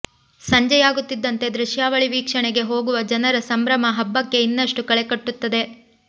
ಸಂಜೆಯಾಗುತ್ತಿದ್ದಂತೆ ದೃಶ್ಯಾವಳಿ ವೀಕ್ಷಣೆಗೆ ಹೋಗುವ ಜನರ ಸಂಭ್ರಮ ಹಬ್ಬಕ್ಕೆ ಇನ್ನಷ್ಟು ಕಳೆಕಟ್ಟುತ್ತದೆ